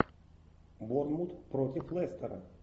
борнмут против лестера